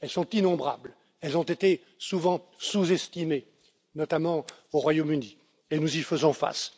Elles sont innombrables, elles ont été souvent sous estimées, notamment au Royaume Uni, et nous y faisons